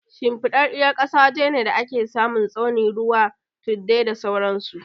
Shimfiɗaɗɗar ƙasa waje ne da ake samun tsauni, ruwa, tuddai, da sauran su.